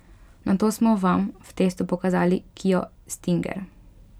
Nato smo vam v testu pokazali kio stinger.